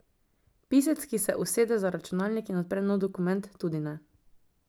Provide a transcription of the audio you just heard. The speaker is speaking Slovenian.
Pisec, ki se usede za računalnik in odpre nov dokument, tudi ne.